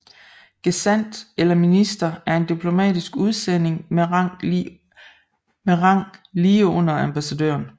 Gesandt eller minister er en diplomatisk udsending med rang lige under ambassadør